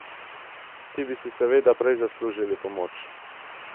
Ti bi si seveda prej zaslužili pomoč!